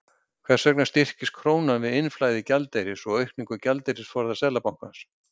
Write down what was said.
Hvers vegna styrkist krónan við innflæði gjaldeyris og aukningu gjaldeyrisforða Seðlabankans?